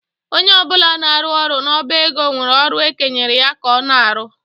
Onye ọ bụla na-arụ ọrụ n'ọba ego nwere ọrụ ekenyere ya ka ọ na-arụ.